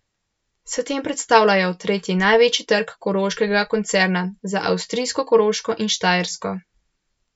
S tem predstavljajo tretji največji trg koroškega koncerna, za avstrijsko Koroško in Štajersko.